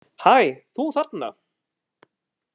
Hæ, þú þarna!